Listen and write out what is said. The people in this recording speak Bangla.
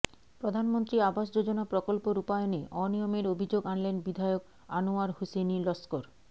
প্ৰধানমন্ত্ৰী আবাস যোজনা প্ৰকল্প রূপায়নে অনিয়মের অভিযোগ আনলেন বিধায়ক আনোয়ার হুসেইন লস্কর